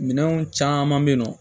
Minɛnw caman bɛ yen nɔ